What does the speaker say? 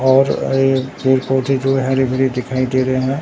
और ये पेड़ पौधे जो है हरे भरे दिखाई दे रहे हैं।